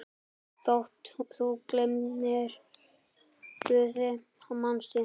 Þótt þú gleymir Guði, manstu?